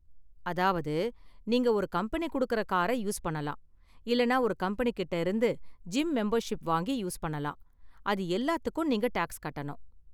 அதாவது நீங்க ஒரு கம்பெனி கொடுக்கற கார யூஸ் பண்ணலாம் இல்லனா ஒரு கம்பெனிகிட்ட இருந்து ஜிம் மெம்பர்ஷிப் வாங்கி யூஸ் பண்ணலாம், அது எல்லாத்துக்கும் நீங்க டாக்ஸ் கட்டணும்.